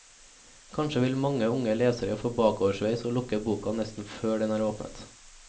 Kanskje vil mange unge lesere få bakoversveis og lukke boka nesten før den er åpnet.